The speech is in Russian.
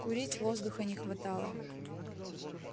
курить воздуха не хватало